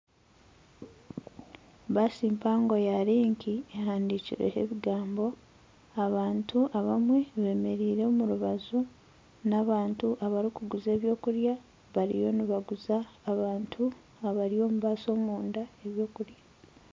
Baasi mpango ya Link ehandiikirweho ebigambo, abantu abamwe bemereire omurubaju n'abantu abarikuguza eby'okurya bariyo nibaguza abantu abari omu baasi omunda eby'okurya.